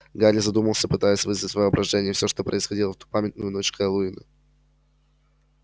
гарри задумался пытаясь вызвать в воображении все что происходило в ту памятную ночь хэллоуина